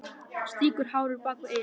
Strýkur hárinu bak við eyrað.